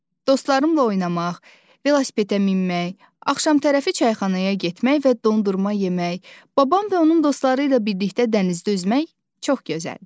Dostlarımla oynamaq, velosipedə minmək, axşam tərəfi çayxanaya getmək və dondurma yemək, babam və onun dostları ilə birlikdə dənizdə üzmək çox gözəldir.